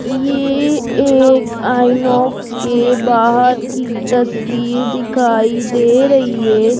ये एक आइनॉक्स के बाहर की तस्वीर दिखाई दे रही है।